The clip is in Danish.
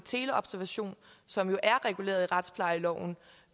teleobservation som jo er reguleret i retsplejeloven